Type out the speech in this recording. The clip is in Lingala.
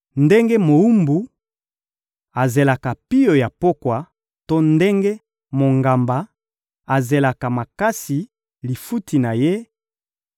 Ndenge mowumbu azelaka pio ya pokwa to ndenge mongamba azelaka makasi lifuti na ye,